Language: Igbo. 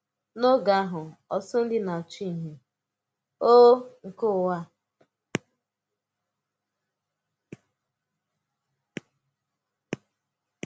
N’ọ̀gé̄ ahụ̄, ọ̀tụ̀tụ̀ ndị na-àchụ́ ìhè um nke Ụ̀wà.